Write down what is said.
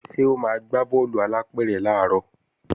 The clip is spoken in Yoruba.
Ṣé o máa gbá bọ́ọ̀lù alápẹ̀rẹ̀ làárọ̀